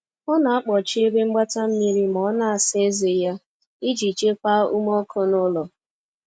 ọ na akpochi ebe mgbata mmiri ma ọ na asa eze ya, ijii chekwaa ume ọkụ n'ulo